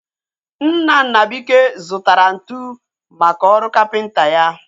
Nna Nnabuike zụtara ntụ maka ọrụ kapịnta ya